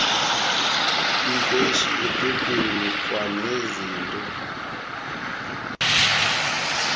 mqeshi ephepheni kwanezinto